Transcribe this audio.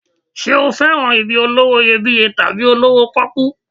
Ṣé o fẹ́ràn ibi olówó iyebíye tàbí olówó pọ́kú?